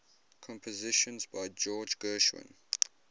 compositions by george gershwin